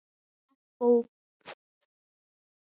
Allt of fljótt mér frá.